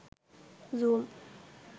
zoom